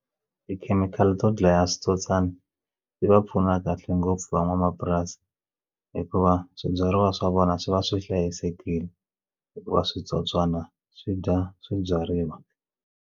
Tikhemikhali to dlaya switsotswana yi va pfuna kahle ngopfu van'wamapurasi hikuva swibyariwa swa vona swi va swi hlayisekile hikuva switsotswana swi dya swibyariwa.